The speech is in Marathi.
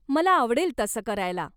मला आवडेल तसं करायला.